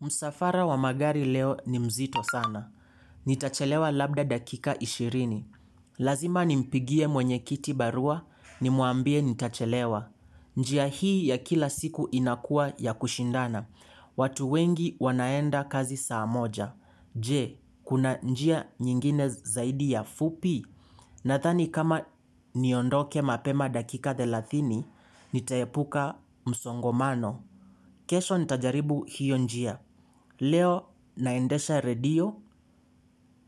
Msafara wa magari leo ni mzito sana. Nitachelewa labda dakika ishirini. Lazima nimpigie mwenye kiti barua ni mwambie nitachelewa. Njia hii ya kila siku inakuwa ya kushindana. Watu wengi wanaenda kazi saa moja. Je, kuna njia nyingine zaidi ya fupi. Nadhani kama niondoke mapema dakika thelathini, nitaepuka msongamano. Kesho nitajaribu hiyo njia. Leo naendesha redio